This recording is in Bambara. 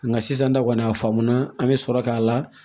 Nka sisan ta kɔni a faamuna an bɛ sɔrɔ k'a la